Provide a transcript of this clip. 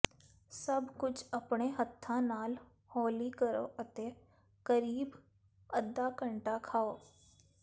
ਸਭ ਕੁਝ ਆਪਣੇ ਹੱਥਾਂ ਨਾਲ ਹੌਲੀ ਕਰੋ ਅਤੇ ਕਰੀਬ ਅੱਧਾ ਘੰਟਾ ਖਾਓ